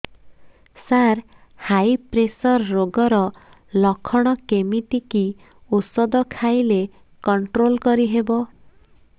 ସାର high pressure ରୋଗର ଲଖଣ କେମିତି କି ଓଷଧ ଖାଇଲେ କଂଟ୍ରୋଲ କରିହେବ